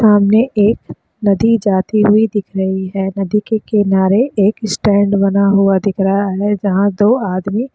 सामाने एक नदी जाती हुई दिख रही है नदी के किनारे एक स्टैन्ड बना हुआ दिख रहा है जहाँ दो आदमी --